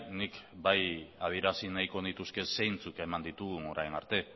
nik bai adierazi nahiko nituzke zeintzuk eman ditugun orain arte